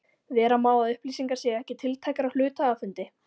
Vera má að upplýsingar séu ekki tiltækar á hluthafafundi.